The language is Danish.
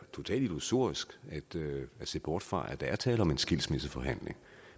totalt illusorisk at se bort fra at der er tale om en skilsmisseforhandling